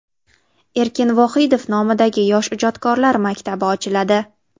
Erkin Vohidov nomidagi yosh ijodkorlar maktabi ochiladi.